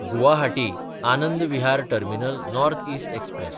गुवाहाटी–आनंद Vihar terminal north east express